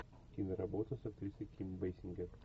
киноработа с актрисой ким бейсингер